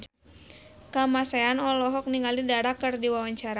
Kamasean olohok ningali Dara keur diwawancara